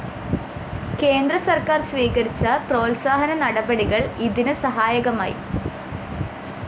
കേന്ദ്രസര്‍ക്കാര്‍ സ്വീകരിച്ച പ്രോത്സാഹന നടപടികള്‍ ഇതിന് സഹായകമായി